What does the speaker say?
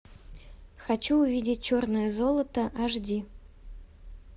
хочу увидеть черное золото аш ди